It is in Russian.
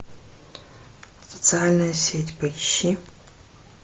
социальная сеть поищи